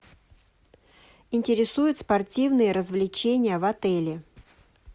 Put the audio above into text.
интересуют спортивные развлечения в отеле